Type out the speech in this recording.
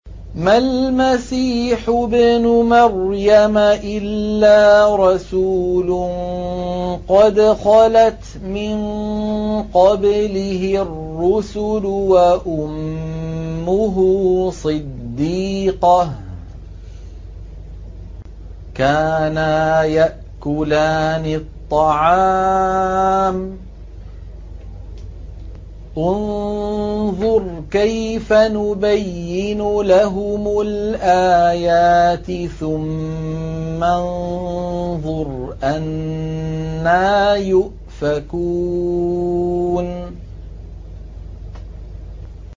مَّا الْمَسِيحُ ابْنُ مَرْيَمَ إِلَّا رَسُولٌ قَدْ خَلَتْ مِن قَبْلِهِ الرُّسُلُ وَأُمُّهُ صِدِّيقَةٌ ۖ كَانَا يَأْكُلَانِ الطَّعَامَ ۗ انظُرْ كَيْفَ نُبَيِّنُ لَهُمُ الْآيَاتِ ثُمَّ انظُرْ أَنَّىٰ يُؤْفَكُونَ